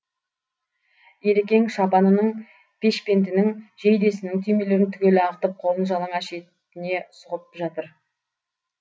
елекең шапанының пешпентінің жейдесінің түймелерін түгел ағытып қолын жалаңаш етіне сұғып жатыр